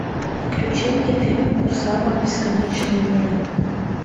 включи мне фильм кусама бесконечные миры